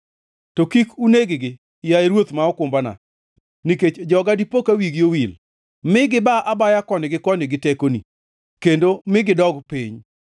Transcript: To kik uneg-gi, yaye Ruoth ma okumbana nikech joga dipoka wigi owil. Mi giba abaya koni gi koni gi tekoni, kendo mi gidog piny.